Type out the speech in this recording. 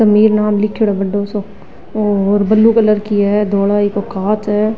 समीर नाम लिखेड़ो बढ्दो सो कांच है।